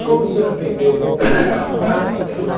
E como o senhor aprendeu como plantar cada uma delas?